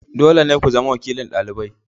Dole ne ku zama wakilin dalibai.